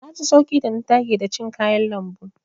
Na ji sauƙi da na dage da cin kayan lambu.